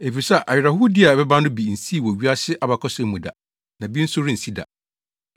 Efisɛ awerɛhowdi a ɛbɛba no, bi nsii wɔ wiase abakɔsɛm mu da, na bi nso rensi da.